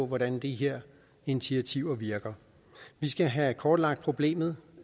hvordan de her initiativer virker vi skal have kortlagt problemet